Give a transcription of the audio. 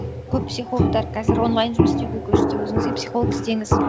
көп психологтар қазір онлайн жұмыс істеуге көшті өзіңізге психолог іздеңіз